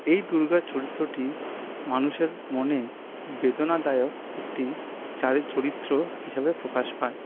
এই দূর্গার চরিত্রটি মানুষের মনে খুব বেদনাদায়ক একটি চারিত চরিত্র হিসেবে প্রকাশ পায়।